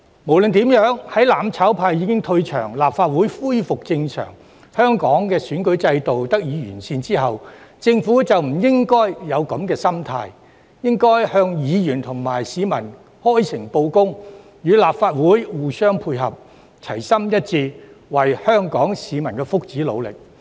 無論如何，在"攬炒派"退場、立法會恢復正常，以及香港的選舉制度得以完善後，政府便不應該抱有這種心態，而是應該向議員和市民開誠布公，與立法會互相配合，齊心一致，為香港市民的福祉努力。